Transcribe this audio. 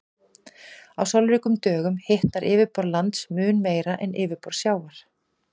Á sólríkum dögum hitnar yfirborð lands mun meira en yfirborð sjávar.